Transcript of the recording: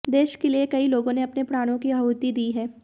देश के लिए कई लोगों ने अपने प्राणों की आहुति दी है